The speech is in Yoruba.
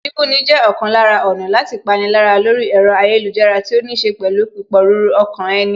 Bíbúni jẹ́ ọ̀kan lára ọ̀nà láti pani lára lórí ẹ̀rọ ayélujára tí ó níṣe pẹ̀lú pípòruru ọkàn ẹni